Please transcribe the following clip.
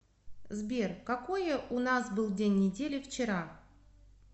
сбер какое у нас был день недели вчера